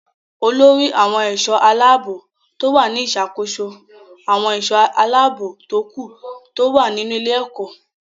Olórí àwọn ẹ̀ṣọ́-aláàbọ̀ ló wà ní ìṣàkóso àwọn ẹ̀ṣọ́ aláàbò tókù tó wà nínú ilé-ẹ̀kọ́.